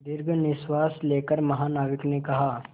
दीर्घ निश्वास लेकर महानाविक ने कहा